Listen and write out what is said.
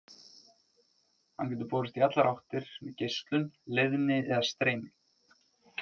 Hann getur borist í allar áttir með geislun, leiðni eða streymi.